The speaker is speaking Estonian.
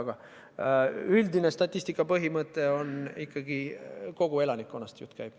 Aga üldine statistika põhimõte on ikkagi see, et jutt käib kogu elanikkonnast.